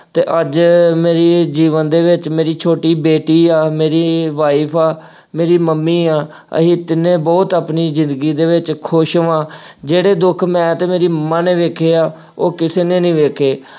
ਅਤੇ ਅੱਜ ਮੇਰੀ ਜੀਵਨ ਦੇ ਵਿੱਚ ਮੇਰੀ ਛੋਟੀ ਬੇਟੀ ਆ, ਮੇਰੀ wife ਆ, ਮੇਰੀ ਮੰਮੀ ਆ, ਅਸੀਂ ਤਿੰਨੇ ਬਹੁਤ ਆਪਣੀ ਜ਼ਿੰਦਗੀ ਦੇ ਵਿੱਚ ਖੂਸ਼ ਵਾਂ, ਜਿਹੜੇ ਦੁੱਖ ਮੈਂ ਅਤੇ ਮੇਰੀ ਮੰਮਾ ਨੇ ਵੇਖੇ ਆ, ਉਹ ਕਿਸੇ ਨੇ ਨਹੀਂ ਵੇਖੇ ।